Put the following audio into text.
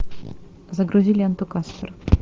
загрузи ленту каспер